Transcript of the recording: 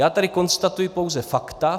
Já tady konstatuji pouze fakta.